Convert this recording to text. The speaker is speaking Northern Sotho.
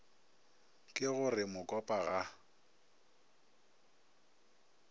ke go re mokopa ga